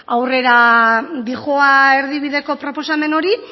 aurrera doa erdibideko proposamen hori